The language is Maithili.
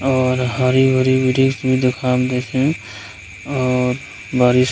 और हरी-भरी वृक्ष भी देखाब दे छै और बड़ी --